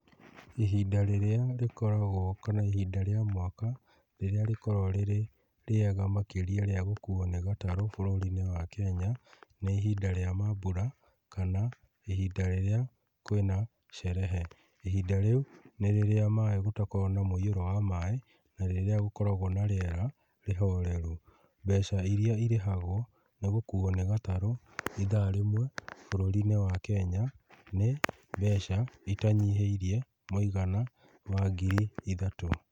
Ihinda rĩrĩa rĩkoragw,o kana ihinda rĩa mwaka, rĩrĩa rĩkoragwo rĩrĩ rĩega makĩria rĩa gũkuo nĩ gatarũ bũrũri-inĩ wa Kenya, nĩ ihinda rĩa maambura kana, ihinda rĩrĩa kwina cerehe. Ihinda rĩu, nĩ rĩrĩa maĩ, gũtakoragwo na mũiyuro wa maĩ, na rĩrĩa gũkoragwo na rĩera rĩhoreru. Mbeca iria irĩhagwo nĩ gũkuo nĩ gatarũ ithaa rĩmwe bũrũrĩ-inĩ wa Kenya, nĩ mbeca itanyihĩirie mũigana wa ngiri ithatũ.